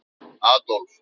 Adólf